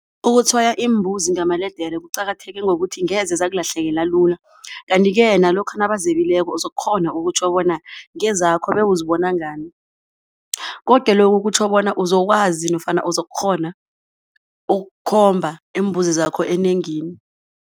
Ukutshwaya iimbuzi ngamaledere kuqakatheke ngokuthi ngeze zakulahlekela lula kanti-ke nalokha nabazebileko uzokukghona ukutjho bona ngezakho bewuzibona ngani. Koke lokhu kutjho bona uzokwazi nofana uzokukghona ukukhomba iimbuzi zakho enengini.